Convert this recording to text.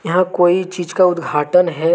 यहां कोई चीज का उद्घाटन है